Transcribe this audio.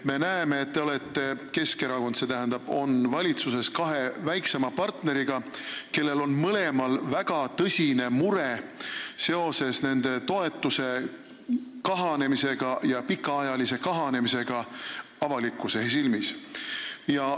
Me näeme, et te olete – Keskerakond on – valitsuses kahe väiksema partneriga, kellest mõlemal on väga tõsine mure nende toetuse pikaajalise kahanemise pärast avalikkuse silmis.